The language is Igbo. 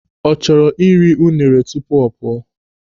Ọ chọrọ iri unere tupu ọ pụọ?